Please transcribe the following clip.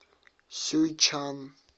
сюйчан